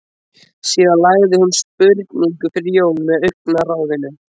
Síðan lagði hún spurningu fyrir Jón með augnaráðinu.